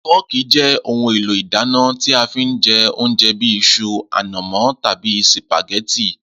Fọ́ọ̀kì jé̩ ohun èlò ìdáná tí a fi ń je̩ oúnje̩ bí is̩u, ànàmó̩ tàbí sìpàgé̩tì